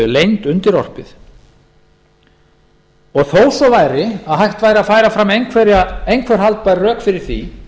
leynd undirorpið þó svo væri að hægt væri að færa fram einhver haldbær rök fyrir því